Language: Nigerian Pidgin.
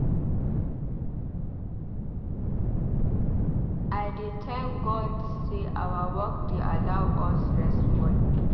I dey thank God say our work dey allow us rest small.